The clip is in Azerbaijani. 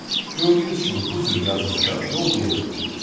Gördüyünüz kimi bu cür yazılışa yol verilmir.